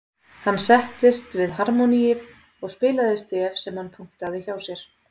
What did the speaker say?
Hann settist við harmóníið og spilaði stef sem hann punktaði hjá sér.